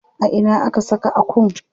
A ina aka saka Akun?